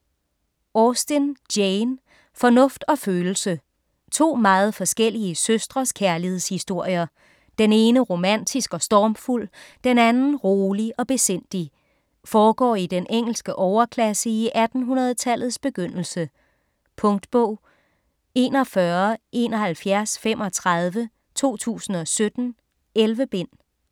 Austen, Jane: Fornuft og følelse To meget forskellige søstres kærlighedshistorier. Den ene romantisk og stormfuld, den anden rolig og besindig. Foregår i den engelske overklasse i 1800-tallets begyndelse. Punktbog 417135 2017. 11 bind.